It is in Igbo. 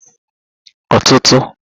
ọtụtụ